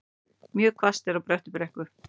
Mjög hvasst er á Bröttubrekku